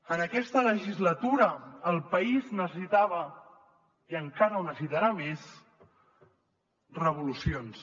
en aquesta legislatura el país necessitava i encara ho necessitarà més revolu cions